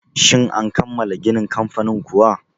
Shin an kammala ginin kamfanin kuwa?